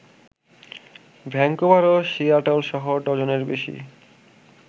Vancouver ও সিয়াটলসহ ডজনের বেশি